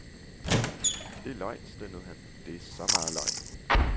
Det er løgn, stønnede han, det er så meget løgn.